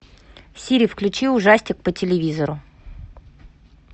сири включи ужастик по телевизору